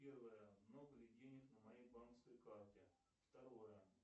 первое много ли денег на моей банковской карте второе